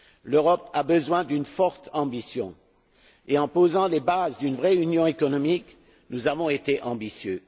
L'Europe a besoin d'une forte ambition et en posant les bases d'une vraie union économique, nous avons été ambitieux.